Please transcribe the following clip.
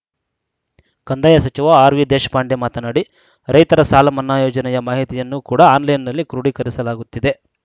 ಕಂದಾಯ ಸಚಿವ ಆರ್‌ವಿದೇಶಪಾಂಡೆ ಮಾತನಾಡಿ ರೈತರ ಸಾಲಮನ್ನಾ ಯೋಜನೆಯ ಮಾಹಿತಿಯನ್ನು ಕೂಡ ಆನ್‌ಲೈನ್‌ನಲ್ಲಿ ಕ್ರೋಡೀಕರಿಸಲಾಗುತ್ತಿದೆ